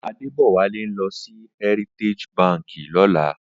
Adebowale n lò si Hèritéji bànkí lòlá